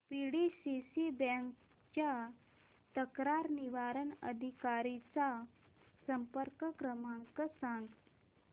PDCC bank च्या तक्रार निवारण अधिकारी चा संपर्क क्रमांक सांग